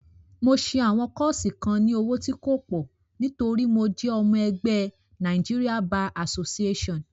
Mo ṣẹ àwọn kọ́ọ́ṣì kan ní owó tí kò pọ̀ nítorí mo jẹ́ ọmọ ẹgbé Nigeria Bar Association.